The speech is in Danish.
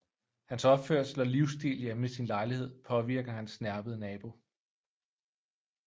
Hans opførsel og livsstil hjemme i sin lejlighed påvirker hans snerpede nabo